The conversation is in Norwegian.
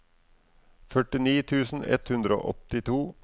førtini tusen ett hundre og åttito